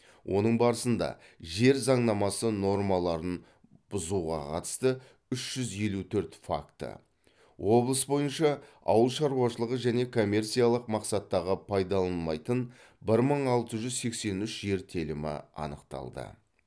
оның барысында жер заңнамасы нормаларын бұуға қатысты үш жүз елу төрт факті облыс бойынша ауыл шаруашылығы және коммерциялық мақсаттағы пайдаланылмайтын бір мың алты жүз сексен үш жер телімі анықталды